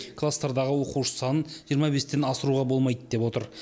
класстардағы оқушы санын жиырма бестен асыруға болмайды деп отыр